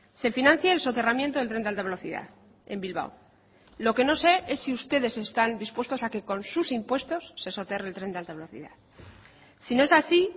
se financie el soterramiento del tren de alta velocidad en bilbao lo que no sé es si ustedes están dispuestos a que con sus impuestos se soterre el tren de alta velocidad si no es así